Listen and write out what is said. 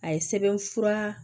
A ye sɛbɛnfura